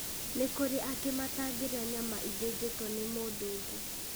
nĩ kũrĩ angĩ matangĩrĩa nyama ĩthĩnjĩtwo nĩ mũndũ ũngĩ